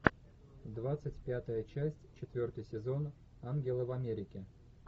двадцать пятая часть четвертый сезон ангелы в америке